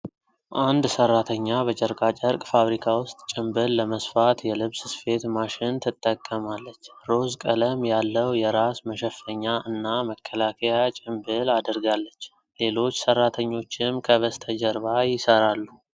አንድ ሰራተኛ በጨርቃጨርቅ ፋብሪካ ውስጥ ጭምብል ለመስፋት የልብስ ስፌት ማሽን ትጠቀማለች። ሮዝ ቀለም ያለው የራስ መሸፈኛ እና መከላከያ ጭምብል አድርጋለች። ሌሎች ሰራተኞችም ከበስተጀርባ ይሰራሉ።